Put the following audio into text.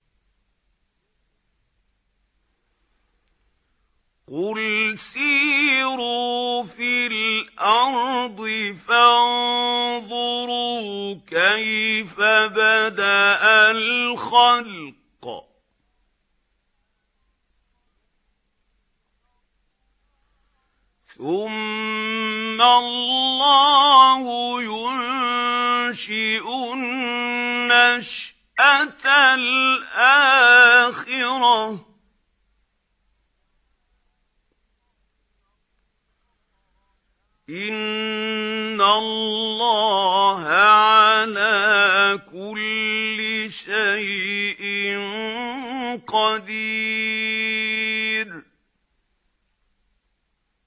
قُلْ سِيرُوا فِي الْأَرْضِ فَانظُرُوا كَيْفَ بَدَأَ الْخَلْقَ ۚ ثُمَّ اللَّهُ يُنشِئُ النَّشْأَةَ الْآخِرَةَ ۚ إِنَّ اللَّهَ عَلَىٰ كُلِّ شَيْءٍ قَدِيرٌ